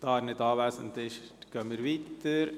– Da er nicht anwesend ist, fahren wir weiter.